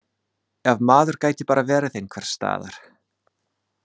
Ef maður gæti bara verið einhvers staðar.